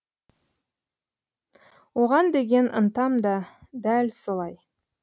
оған деген ынтам да дәл солай